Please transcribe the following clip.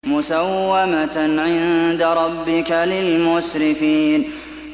مُّسَوَّمَةً عِندَ رَبِّكَ لِلْمُسْرِفِينَ